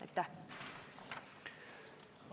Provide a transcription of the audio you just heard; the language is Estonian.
Aitäh!